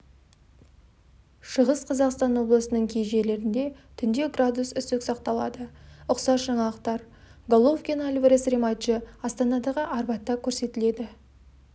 шығыс қазақстан облысының кей жерлерінде түнде градус үсік сақталады ұқсас жаңалықтар головкин-альварес рематчы астанадағы арбатта көрсетіледі